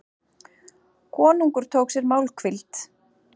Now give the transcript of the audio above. Konungur tók sér málhvíld.